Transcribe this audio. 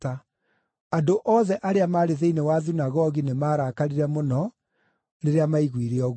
Andũ othe arĩa maarĩ thĩinĩ wa thunagogi nĩmarakarire mũno rĩrĩa maiguire ũguo.